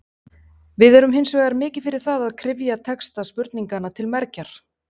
Við erum hins vegar mikið fyrir það að kryfja texta spurninganna til mergjar.